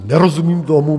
Nerozumím tomu.